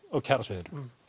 kjarasviðinu